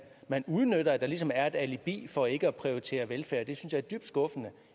man udnytter at der ligesom er et alibi for ikke at prioritere velfærd det synes jeg er dybt skuffende